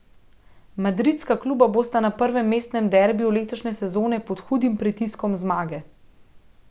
Madridska kluba bosta na prvem mestnem derbiju letošnje sezone pod hudim pritiskom zmage.